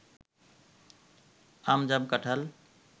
আম জাম কাঁঠাল